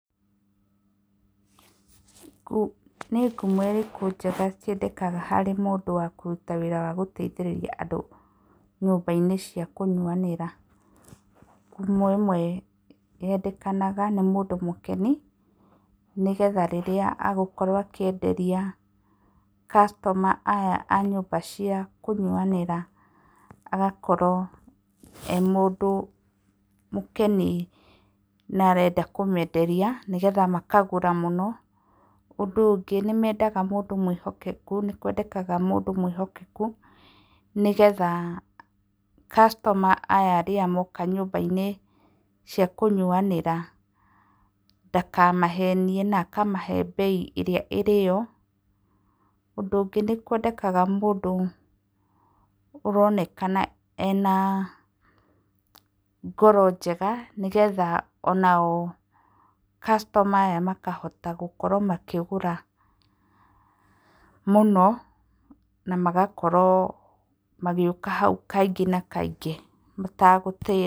Nĩ ngumo ĩrĩkũ njega ciendekaga harĩ mũndũ wa kũruta wĩra wa gũteithĩrĩria andũ nyũmba-inĩ cia kũnyuanĩra. Ngumo ĩmwe yendekanaga nĩ mũndũ mũkeni nĩgetha rĩrĩa ekwenderia customer aya a nyũmba cia kũnyuanĩra agakorwo ee mũndũ mũkeni na arenda kũmenderia, nĩgetha makagũra mũno. Ũndũ ũngĩ nĩ mendaga mũndũ mwĩhokeku, nĩ kwendekaga mũndũ mwĩhokeku, nĩgetha customer aya rĩrĩa moka nyũmba-inĩ cia kũnyuanĩra ndakamahenie na akamahe mbei ĩrĩa ĩrĩ yo. Ũndũ ũngĩ nĩ kwendekaga mũndũ ũronekana ena ngoro njega, nĩgetha ona o customer aya makahota gũkorwo makĩgũra mũno na magakorwo magĩũka hau kaingĩ na kaingĩ matagũtĩra.